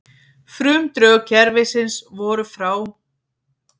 Frumdrög kerfisins voru frá